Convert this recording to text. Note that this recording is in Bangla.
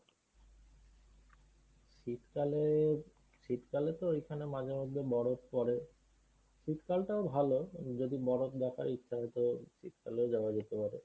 শীতকালে শীতকালে তো ওইখানে মাঝে মধ্যে বরফ পরে। শীতকালেটাও ভালো যদি বরফ দেখার ইচ্ছা হয় তো শীতকালেও যাওয়া যেতে পারে।